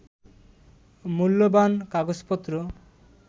মূল্যবান কাগজপত্র